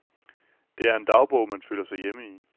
Det er en dagbog, man føler sig hjemme i.